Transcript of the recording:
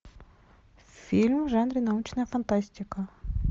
фильм в жанре научная фантастика